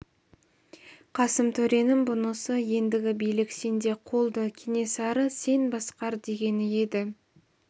қасым төренің бұнысы ендігі билік сенде қолды кенесары сен басқар дегені еді